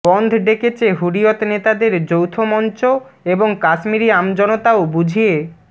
বন্ধ ডেকেছে হুরিয়ত নেতাদের যৌথ মঞ্চ এবং কাশ্মীরি আমজনতাও বুঝিয়ে